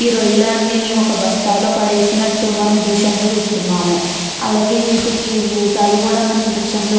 ఈ రొయ్యలన్నీ ఒక బస్తాలో పడేసినట్టు మన దృశ్యంలో చూస్తున్నాము. అలాగే వీటికి మీసాలు కూడా మనకు దృశ్యం లో --